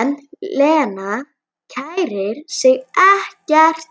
En Lena kærir sig ekkert